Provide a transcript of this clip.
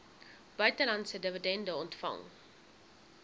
buitelandse dividende ontvang